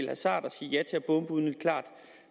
hasard at sige ja til at bombe uden et klart